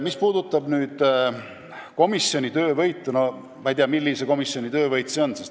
Mis puutub komisjoni töövõitu, siis ma ei tea, millise komisjoni töövõit see on.